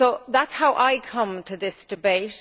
That is how I come to this debate.